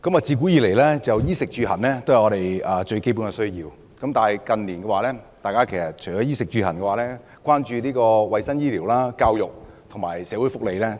自古以來，衣食住行都是我們最基本的需要，但近年我們除了衣食住行外，也相當關注衞生、醫療、教育和社會福利。